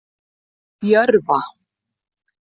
Jörfa